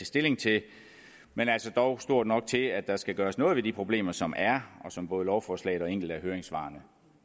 stilling til men altså dog stort nok til at der skal gøres noget ved de problemer som der er og som både lovforslaget og enkelte af høringssvarene